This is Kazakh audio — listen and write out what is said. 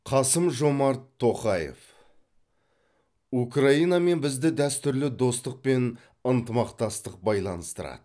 қасым жомарт тоқаев украинамен бізді дәстүрлі достық пен ынтымақтастық байланыстырады